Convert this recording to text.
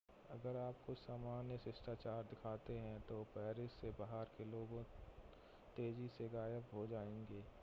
अगर आप कुछ सामान्य शिष्टाचार दिखाते हैं तो पेरिस से बाहर के लोग तेजी से गायब हो जाएंगे